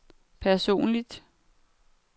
personligt